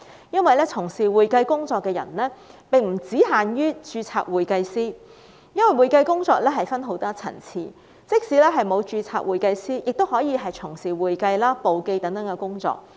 因為從事會計工作的並不限於註冊會計師，會計工作分很多層次，即使不是註冊會計師，亦可以從事會計、簿記等工作。